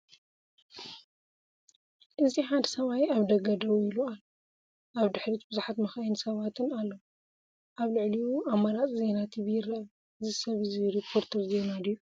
እዚ ሓደ ሰብኣይ ኣብ ደገ ደው ኢሉ ኣሎ። ኣብ ድሕሪት ብዙሓት መካይንን ሰባትን ኣለዉ፡ ኣብ ልዕሊኡ ኣማራጺ ዜና ቲቪ ይርአ። እዚ ሰብ እዚ ሪፖርተር ዜና ድዩ?